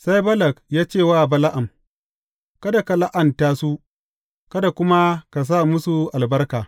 Sai Balak ya ce wa Bala’am, Kada ka la’anta su, kada kuma ka sa musu albarka!